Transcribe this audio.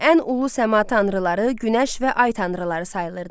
Ən ulu səma tanrıları günəş və ay tanrıları sayılırdı.